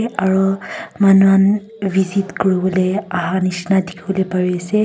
aru manuhan visit kuriwole aha nishina dikhiwole pariase.